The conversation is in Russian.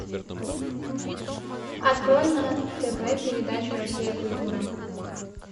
открой на тв передачу россия культура